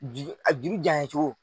Juru a jurujan ye cogo min